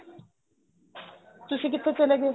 ਤੁਸੀਂ ਕਿੱਥੇ ਚਲੇ ਗਏ